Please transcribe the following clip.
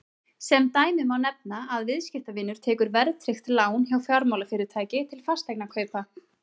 sem dæmi má nefna að viðskiptavinur tekur verðtryggt lán hjá fjármálafyrirtæki til fasteignakaupa